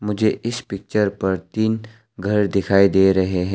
मुझे इस पिक्चर पर तीन घर दिखाई दे रहे हैं।